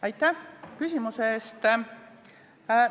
Aitäh küsimuse eest!